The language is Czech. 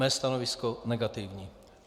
Mé stanovisko negativní.